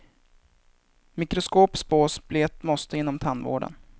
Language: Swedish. Mikroskop spås bli ett måste inom tandvården.